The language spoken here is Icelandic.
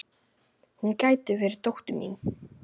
Hún gæti verið dóttir mín.